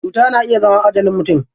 Cuta na iya zama ajalin mutum.